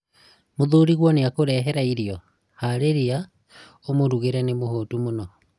muthuriguo nĩakũrehera irio, harĩria ũmũrugĩre nĩ mũhũtu mũno